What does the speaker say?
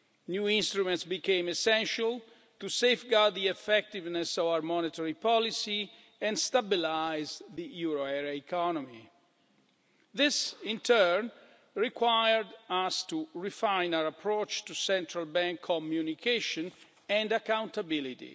New instruments became essential to safeguard the effectiveness of our monetary policy and stabilise the euro area economy. This in turn required us to refine our approach to central bank communication and accountability.